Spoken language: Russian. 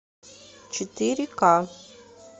четыре ка